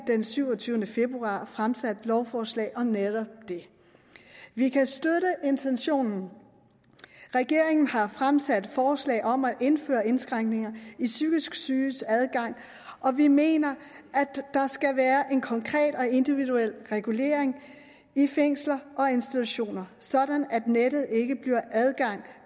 den syvogtyvende februar fremsat lovforslag om netop det vi kan støtte intentionen regeringen har fremsat forslag om at indføre indskrænkninger i psykisk syges adgang og vi mener at der skal være en konkret og individuel regulering i fængsler og institutioner sådan at nettet ikke giver adgang